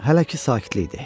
Hələ ki sakitlikdir.